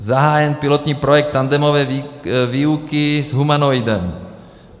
Zahájen pilotní projekt tandemové výuky s humanoidem.